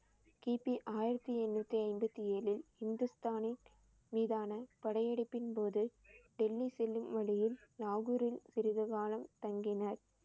கி. பி. ஆயிரத்தி எண்ணூத்தி ஐம்பத்தி ஏழில் ஹிந்துஸ்தானின் மீதான படையெடுப்பின் போது டெல்லி செல்லும் வழியில் லாகூரில் சிறிது காலம் தங்கினார்